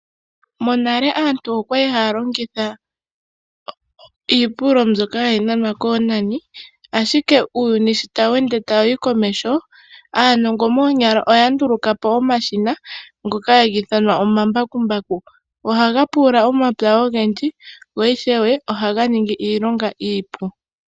Monale aantu okwali haya longitha iipululo mbyoka hayi nanwa koonani ashike sho uuyuni tawu ende tawu yi komeho, aanongo moonyala oya ndulukapo omashina ngoka haga ithanwa omambakumbaku, ohaga pulula omahala ogendji go ishewe ohaga ningi iilonga iipu.